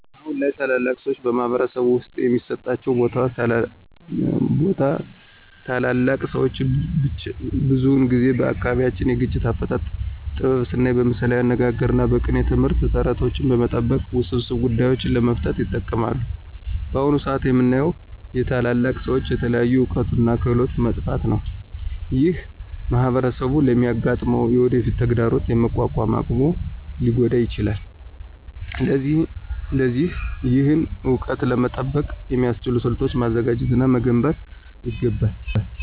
አሁን ላይ ታላላቅ ሰዎች በማኅበረሰብ ውስጥ የሚሰጣቸው ቦታ ታላላቅ ሰዎች ብዙውን ጊዜ በአካባቢያቸው የግጭት አፈታት ጥበብ ስናይ በምሳሌያዊ አነጋግሮች እና በቅኔ ትምህርት፣ ተረቶችን በመጠቀም ውስብስብ ጉዳዮችን ለመፍታት ይጠቀማሉ። በአሁን ሰአት የምናየው የታላላቅ ሰዎች የተለያዩ እውቀቶች እና ክህሎቶች መጥፋት ነው። ይህ ማኅበረሰቡ ለሚያጋጥመው የወደፊት ተግዳሮት የመቋቋም አቅሙን ሊጎዳ ይችላል። ስለዚህ ይህን እውቀት ለመጠበቅ የሚያስችሉ ስልቶችን ማዘጋጀት እና መገንባት ይገባል።